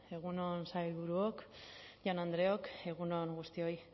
egun on sailburuok jaun andreok egun on guztioi